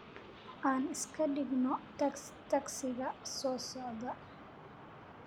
aan iska dhigno tagsiga soo socda